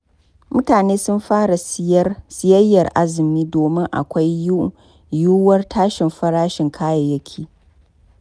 Mutane sun fara siyayyar azumi domin akwai yiwuwar tashin farashin kayayyaki.